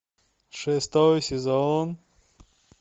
шестой сезон